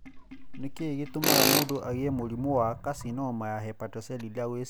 Nĩ kĩĩ gĩtũmaga mũndũ agĩe na mũrimũ wa karcinoma ya hepatocellular gwe ciana?